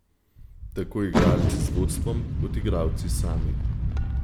Tako igralci z vodstvom kot igralci sami.